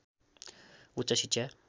उच्च शिक्षा